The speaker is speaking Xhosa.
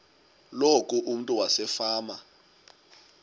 loku umntu wasefama